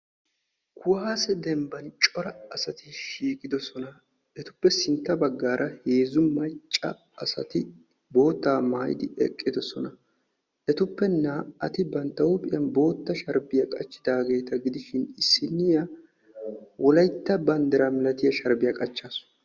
Kuwaasiyaa demban cora asati shiiqidosona. etappe sintta baggaara heezzu macca asati boottaa maayidi eqqidosona. etuppe naa'ati bantta huuphiyan bootta sharbbiya qachidaageeta gidishin issinniya wolaytta banddira malatiya sharbbiya qachaasu.